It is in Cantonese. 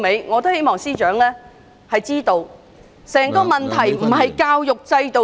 我希望司長知道，歸根究底，問題並非出於教育制度......